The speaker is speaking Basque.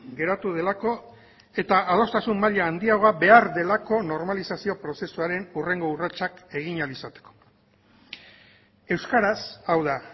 geratu delako eta adostasun maila handiagoa behar delako normalizazio prozesuaren hurrengo urratsak egin ahal izateko euskaraz hau da